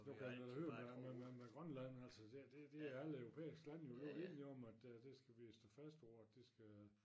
Du kan da høre med med med Grønland altså der det det er alle Europæiske lande vi var enige om at øh det vi skal stå fast på at det skal